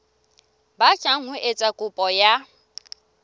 batlang ho etsa kopo ya